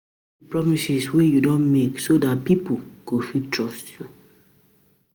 Keep di promises wey you don make so dat pipo go fit trust you